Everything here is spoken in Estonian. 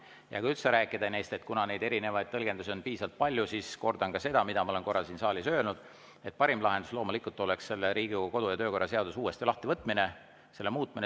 Ja kui üldse rääkida, kuna neid erinevaid tõlgendusi on piisavalt palju, siis kordan ka seda, mida ma olen korra siin saalis öelnud: parim lahendus oleks loomulikult Riigikogu kodu- ja töökorra seadus uuesti lahti võtta ja seda muuta.